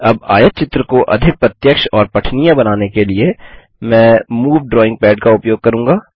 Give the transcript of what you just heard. अब आयतचित्र को अधिक प्रत्यक्ष और पठनीय बनाने के लिए मैं मूव ड्राइंग पद का उपयोग करूँगा